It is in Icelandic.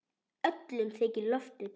Öllum þykir lofið gott.